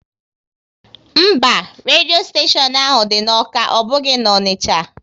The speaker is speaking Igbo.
Mba, redio steshion ahụ dị n'Awka, ọ bụghị na Onicha